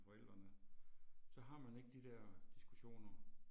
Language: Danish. Forældrene, så har man ikke de der diskussioner